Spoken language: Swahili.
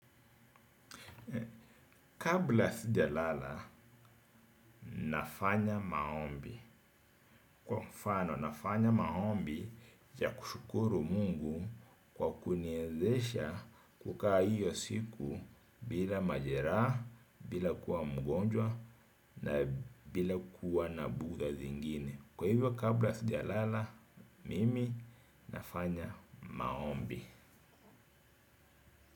Kabla sijalala, nafanya maombi. Kwa mfano, nafanya maombi ya kushukuru mungu kwa kuniwezesha kukaa hiyo siku bila majeraha, bila kuwa mgonjwa na bila kuwa na bugdha zingine. Kwa hivyo, kabla sidi lala, mimi nafanya maombi.